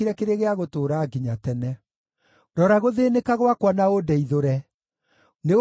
Rora gũthĩĩnĩka gwakwa na ũndeithũre, nĩgũkorwo ndiriganĩirwo nĩ watho waku.